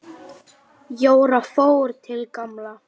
Jóra fór til Gamla.